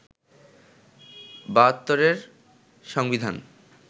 ৭২’র সংবিধান